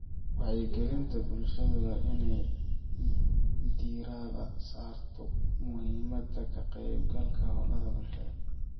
Wacyigelinta bulshada waa inay diirada saarto muhiimadda ka qaybgalka hawlaha bulshada.